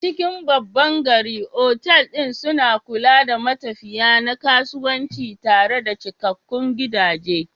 A cikin babban birni, otal ɗin suna kula da matafiya na kasuwanci tare da cikakkun gidaje.